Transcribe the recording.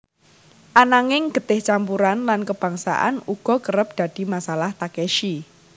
Ananging getih campuran lan kebangsaan uga kerep dadi masalah Takeshi